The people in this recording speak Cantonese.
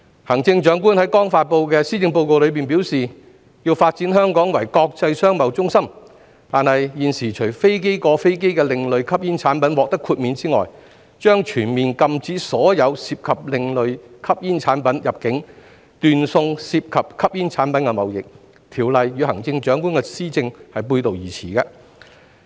行政長官在剛發布的施政報告中表示，要發展香港為國際商貿中心，但現時除飛機過飛機的另類吸煙產品獲得豁免外，將全面禁止所有涉及另類吸煙產品入境，斷送涉及吸煙產品的貿易，《條例草案》與行政長官的施政背道而馳。